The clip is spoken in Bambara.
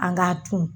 An k'a ton